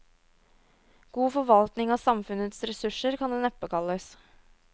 God forvaltning av samfunnets ressurser kan det neppe kalles.